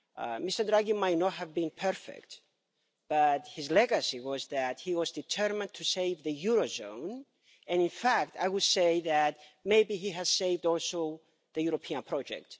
Mr Draghi might not have been perfect, but his legacy was that he was determined to save the eurozone, and in fact I would say that maybe he has also saved the European project.